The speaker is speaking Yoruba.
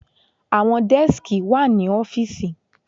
Àwọn dẹ́skì wà ní ọ́fìsì.